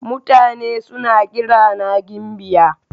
Mutane suna kirana gimbiya.